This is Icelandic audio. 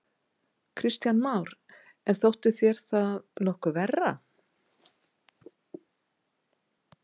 Kristján Már: En þótti þér það nokkuð verra?